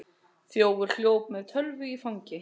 Þjófur hljóp með tölvu í fangi